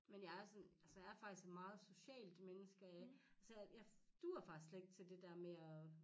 Men jeg er sådan altså jeg er faktisk et meget socialt menneske altså jeg duer faktisk slet ikke til det dér med at